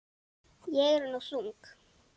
Ég er nú þung.